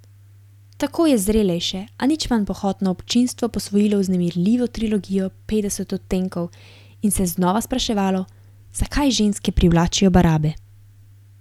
Tako je zrelejše, a nič manj pohotno občinstvo posvojilo vznemirljivo trilogijo Petdeset odtenkov in se znova spraševalo, zakaj ženske privlačijo barabe.